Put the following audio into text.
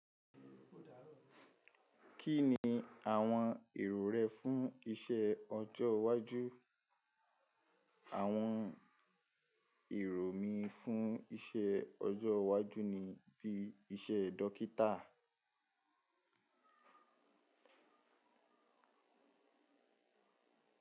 Kí ni àwọn èrò rẹ fún iṣẹ́ ọjọ́ iwájú? Àwọn èrò mi fún iṣẹ́ ọjọ́ iwájú ni bí iṣẹ́ dókítà.